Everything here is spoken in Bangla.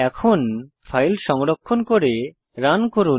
এখন ফাইল সংরক্ষণ করে রান করুন